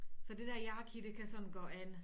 Så det der yaki det kan sådan gå an